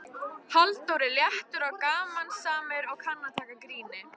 Halldór er léttur og gamansamur og kann að taka gríni.